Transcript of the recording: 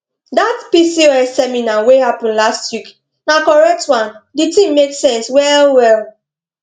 dat pcos seminar wey happen last week na correct one di thing make sense well well